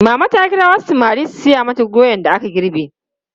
Mama ta kira wasu samari su saya mata doyan da aka girbe.